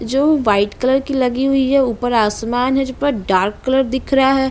जो white colour की लगी हुई है ऊपर आसमान है जो पर डार्क कलर दिख रहा है।